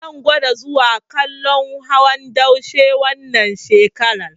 Zan gwada zuwa kallon hawan daushe wannan shekarar.